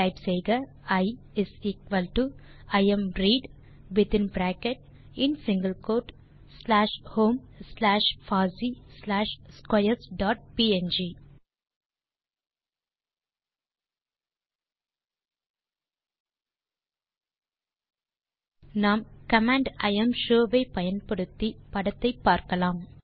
type செய்க Iimread வித்தின் bracket இன் single quote slash home slash பாசி ஸ்லாஷ் ஸ்க்வேர்ஸ் டாட் ப்ங் நாம் கமாண்ட் இம்ஷோ ஐ பயன்படுத்தி படத்தை பார்க்கலாம்